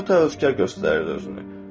Çox təvəkkülkar göstərirdi özünü.